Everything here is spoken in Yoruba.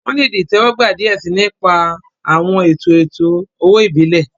Wọn le di itẹwọgba diẹ sii, ni ipa awọn eto eto-owo ibile.